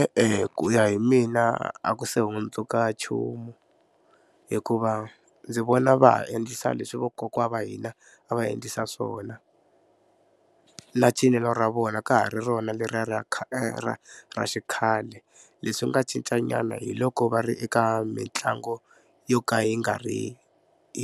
E-e ku ya hi mina a ku se hundzuka nchumu hikuva ndzi vona va ha endlisa leswi vakokwani va hina a va endlisa swona na cinelo ra vona ka ha ri rona leriya ra ra ra xikhale leswi nga cincanyana hi loko va ri eka mitlangu yo ka yi nga ri